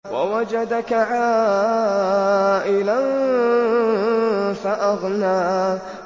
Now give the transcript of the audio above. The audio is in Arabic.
وَوَجَدَكَ عَائِلًا فَأَغْنَىٰ